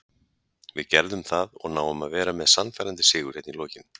Við gerðum það og náum að vera með sannfærandi sigur hérna í lokin.